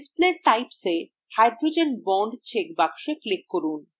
display types এ hydrogen bond check box click করুন